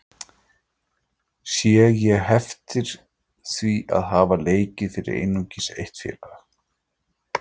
Sé ég heftir því að hafa leikið fyrir einungis eitt félag?